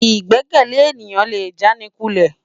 Igbèkèlé éniyán lé jánikúlè